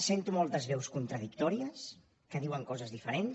sento moltes veus contradictòries que diuen coses diferents